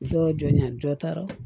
Dɔ jɔnya dɔ taara